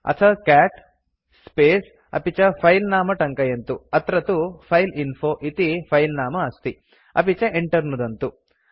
अथ cat space अपि च फिले नाम टङ्कयन्तु अत्र तु फाइलइन्फो इति फिले नाम अस्ति अपि च enter नुदन्तु